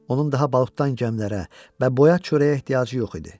Onun daha balıqdan gəmilərə və boyat çörəyə ehtiyacı yox idi.